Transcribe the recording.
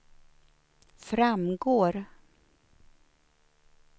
framgår